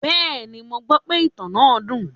Bẹ́ẹ̀ni, mo gbọ́ pe ìtàn náà dùn.